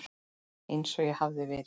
Einsog ég hafi verið.